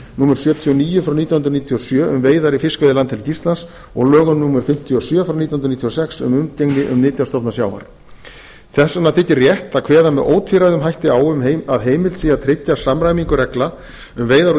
númer sjötíu og níu nítján hundruð níutíu og sjö um veiðar í fiskveiðilandhelgi íslands og lögum númer fimmtíu og sjö nítján hundruð níutíu og sex um umgengni um nytjastofna sjávar þess vegna þykir rétt að kveða með ótvíræðum hætti á um að heimilt sé að tryggja samræmingu reglna um veiðar úr